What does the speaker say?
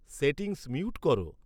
settings mute করো